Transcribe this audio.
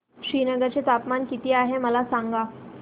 श्रीनगर चे तापमान किती आहे मला सांगा